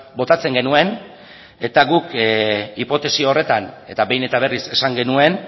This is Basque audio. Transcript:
botatzen genuen eta guk hipotesi horretan eta behin eta berriz esan genuen